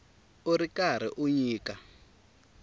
u ri karhi u nyika